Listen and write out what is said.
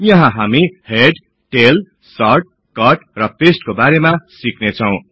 यहाँ हामी head tail sort cut र पस्ते को बारेमा सिक्नेछौ